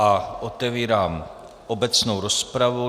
A otevírám obecnou rozpravu.